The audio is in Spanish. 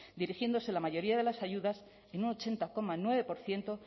dirigiéndose la mayoría de las ayudas en ochenta coma nueve por ciento